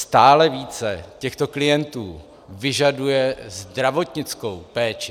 Stále více těchto klientů vyžaduje zdravotnickou péči.